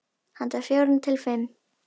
Handa fjórum til fimm